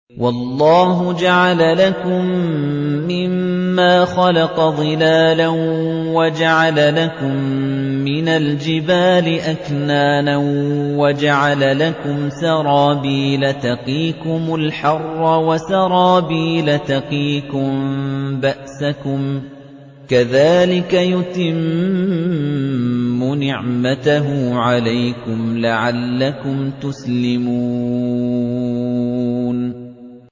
وَاللَّهُ جَعَلَ لَكُم مِّمَّا خَلَقَ ظِلَالًا وَجَعَلَ لَكُم مِّنَ الْجِبَالِ أَكْنَانًا وَجَعَلَ لَكُمْ سَرَابِيلَ تَقِيكُمُ الْحَرَّ وَسَرَابِيلَ تَقِيكُم بَأْسَكُمْ ۚ كَذَٰلِكَ يُتِمُّ نِعْمَتَهُ عَلَيْكُمْ لَعَلَّكُمْ تُسْلِمُونَ